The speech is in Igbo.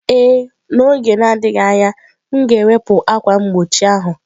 Ee, n'oge na-adịghị anya, m ga-ewepụ ákwà mgbochi ahụ